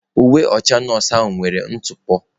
Uwe ọcha nọọsụ ahụ nwere ntụpọ.